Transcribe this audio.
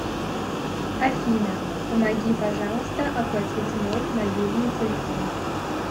афина помоги пожалуйста оплатить мой мобильный телефон